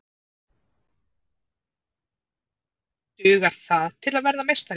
Dugar það til að verða meistari?